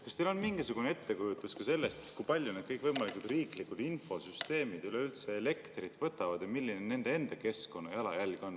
Kas teil on mingisugune ettekujutus ka sellest, kui palju kõikvõimalikud riiklikud infosüsteemid üldse elektrit võtavad ja milline on nende enda keskkonnajalajälg?